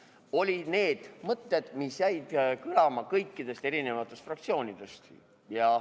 Need olid need mõtted, mis jäid kõlama kõikides fraktsioonides.